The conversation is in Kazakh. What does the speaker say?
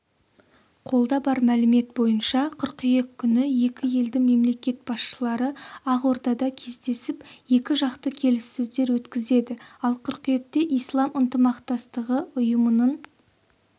қолда бар мәлімет бойынша қыркүйек күні екі елдің мемлекет басшылары ақордада кездесіп екі жақты келіссөздер өткізеді ал қыркүйекте ислам ынтымақтастығы ұйымының